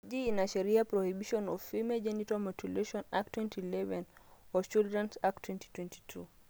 eji ina sheria prohibition of female genital mutilation act 2011 o children's act 2022